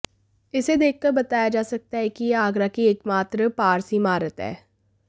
इसे देखकर बताया जा सकता है कि यह आगरा की एकमात्र पारसी इमारत है